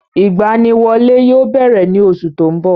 Ìgbaniwọlé yóò bẹ̀rẹ̀ ní oṣù tó ń bọ̀.